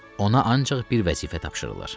Ona ancaq bir vəzifə tapşırılır.